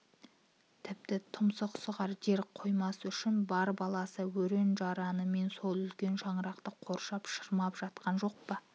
тіпті тұмсық сұғар жер қоймас үшін бар баласы өрен-жаранымен сол үлкен шаңырақты қоршап шырмап жаткан жоқ па